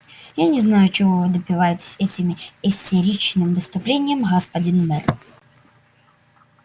я не знаю чего вы добиваетесь этими истеричным выступлением господин мэр